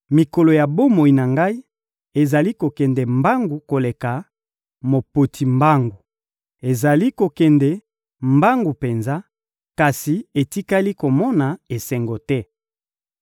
Mikolo ya bomoi na ngai ezali kokende mbangu koleka mopoti mbangu, ezali kokende mbangu penza, kasi etikali komona esengo te.